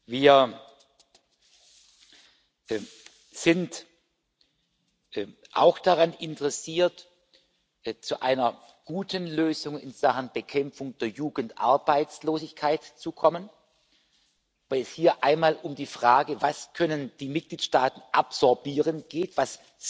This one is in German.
Wir sind auch daran interessiert, zu einer guten Lösung in Sachen Bekämpfung der Jugendarbeitslosigkeit zu kommen, weil es hier einmal um die Frage geht, was die Mitgliedstaaten absorbieren können, was